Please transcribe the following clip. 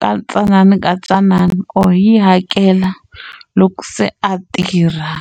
ka tsanana ka tsanana or yi hakela loko se a tirha.